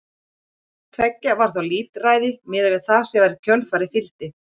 Hvort tveggja var þó lítilræði miðað við það sem í kjölfarið fylgdi.